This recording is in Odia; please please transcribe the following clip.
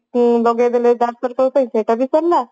ଆଳୁ ଗଲେଇ ଦେଲେ ସହିତ ସେଟ ବି ସରିଲା